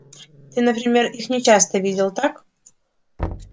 ты например их не часто видел так